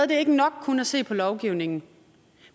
det er ikke nok kun at se på lovgivningen